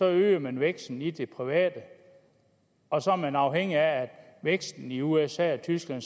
øger man væksten i det private og så er man afhængig af at væksten i usa og tyskland og